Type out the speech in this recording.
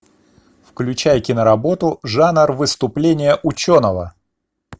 включай киноработу жанр выступление ученого